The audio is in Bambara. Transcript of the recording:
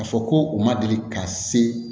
Ka fɔ ko u ma deli ka se